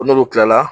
Ko n'olu kilala